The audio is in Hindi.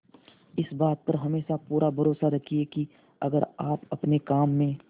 इस बात पर हमेशा पूरा भरोसा रखिये की अगर आप अपने काम में